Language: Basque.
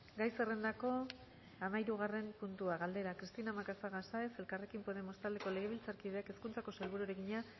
gai zerrendako hamahirugarren puntua galdera cristina macazaga sáenz elkarrekin podemos taldeko legebiltzarkideak hezkuntzako sailburuari egina